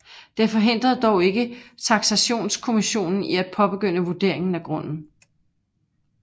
Det forhindrede dog ikke taksationskommissionen i at påbegynde vurderingen af grunden